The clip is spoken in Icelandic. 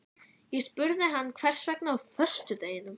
Ég spurði hann hvers vegna á föstudeginum?